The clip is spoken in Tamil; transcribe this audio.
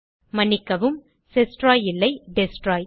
மன்னிக்கவும் செஸ்ட்ராய் இல்லை டெஸ்ட்ராய்